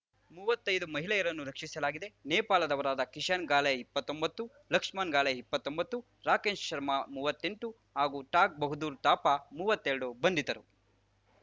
ಮೂವತ್ತೈದು ಮಹಿಳೆಯರನ್ನು ರಕ್ಷಿಸಲಾಗಿದೆ ನೇಪಾಳದವರಾದ ಕಿಶನ್‌ ಗಾಲೆ ಇಪ್ಪತ್ತೊಂಬತ್ತು ಲಕ್ಷ್ಮಣ್‌ ಗಾಲೆ ಇಪ್ಪತ್ತೊಂಬತ್ತು ರಾಕೇಶ್‌ ಶರ್ಮ ಮೂವತ್ತೆಂಟು ಹಾಗೂ ತಾಗ್‌ ಬಹದ್ದೂರ್‌ ತಾಪ ಮೂವತ್ತೆರಡು ಬಂಧಿತರು